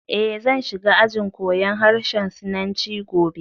Eh, zan shiga ajin koyan harshen Sinanci gobe